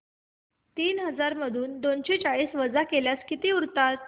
तीन हजार मधून दोनशे चाळीस वजा केल्यास किती उरतील